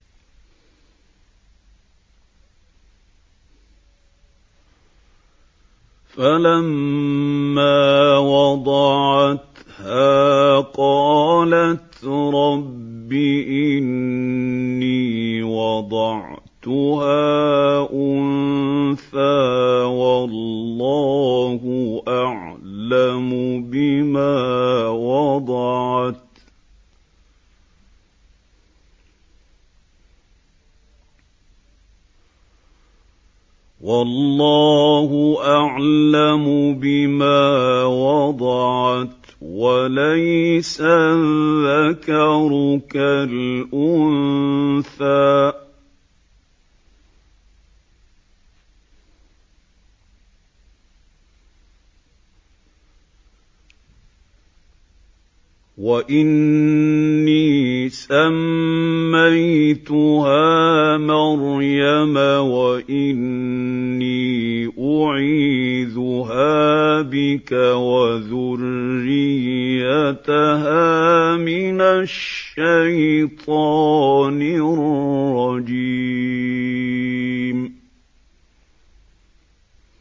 فَلَمَّا وَضَعَتْهَا قَالَتْ رَبِّ إِنِّي وَضَعْتُهَا أُنثَىٰ وَاللَّهُ أَعْلَمُ بِمَا وَضَعَتْ وَلَيْسَ الذَّكَرُ كَالْأُنثَىٰ ۖ وَإِنِّي سَمَّيْتُهَا مَرْيَمَ وَإِنِّي أُعِيذُهَا بِكَ وَذُرِّيَّتَهَا مِنَ الشَّيْطَانِ الرَّجِيمِ